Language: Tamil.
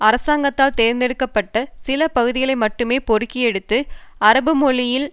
அரசாங்கத்தால் தேர்ந்தெடுக்க பட்ட சில பகுதிகளை மட்டுமே பொறுக்கியெடுத்து அரபு மொழியில்